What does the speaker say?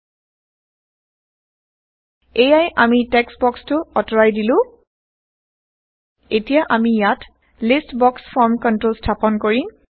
160 এইয়া আমি টেক্সট বক্সটো আতৰাই দিলো এতিয়া আমি ইয়াত লিষ্ট বক্স ফৰ্ম কন্ট্ৰল স্থাপন কৰিম